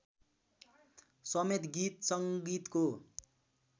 समेत गीत सङ्गीतको